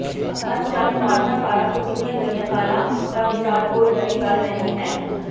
ਅਣਚਾਹੇ ਵਾਰਤਾਕਾਰਾਂ ਤੋਂ ਕੀਤੀਆਂ ਗਈਆਂ ਕਾਲਾਂ ਦਾ ਵਿਚਾਰ ਕੋਈ ਨਵੀਂ ਗੱਲ ਨਹੀਂ ਹੈ